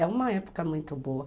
É uma época muito boa.